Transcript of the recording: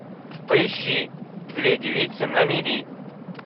поищи две девицы на мели